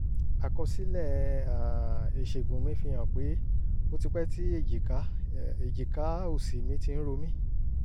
àkọsílẹ̀ um ìṣègùn mi fihàn pé ó ti pẹ́ tí èjìká èjìká òsì mi ti ń ro mí